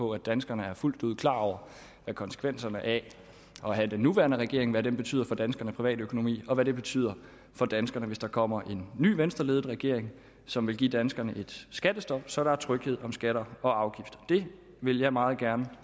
på at danskerne er fuldt ud klar over hvad konsekvenserne af at have den nuværende regering hvad det betyder for danskernes privatøkonomi og hvad det betyder for danskerne hvis der kommer en ny venstreledet regering som vil give danskerne et skattestop så der er tryghed om skatter og afgifter det vil jeg meget gerne